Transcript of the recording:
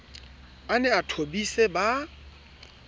a ne a thobise ba